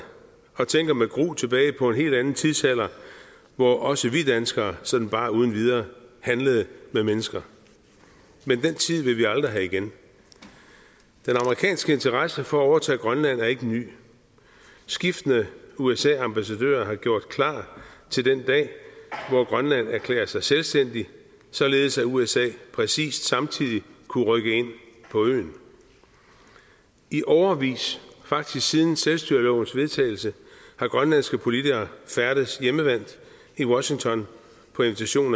og tænker med gru tilbage på en helt anden tidsalder hvor også vi danskere sådan bare uden videre handlede med mennesker men den tid vil vi aldrig have igen den amerikanske interesse for at overtage grønland er ikke ny skiftende usa ambassadører har gjort klar til den dag hvor grønland erklærer sig selvstændigt således at usa præcis samtidig kunne rykke ind på øen i årevis faktisk siden selvstyrelovens vedtagelse har grønlandske politikere færdedes hjemmevant i washington på invitation